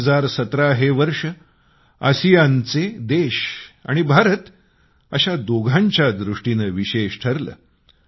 2017 हे वर्ष आसियानचे देश आणि भारत अशा दोघांच्या दृष्टीने विशेष ठरले